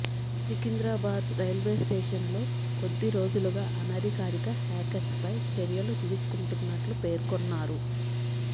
Secunderabad railway స్టేషన్లో కొద్దిరోజులుగా అనధికారిక హాకర్స్పై చర్యలు తీసుకుంటున్నట్లు పేర్కొన్నారు